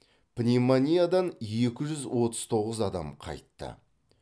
пневмониядан екі жүз отыз тоғыз адам қайтты